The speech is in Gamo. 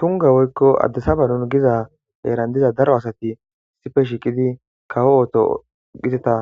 Tunga woykko addisaba nun giza eerandiza daro asati sife shiiqidi kawo ooto giteta